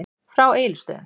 Frá Egilsstöðum.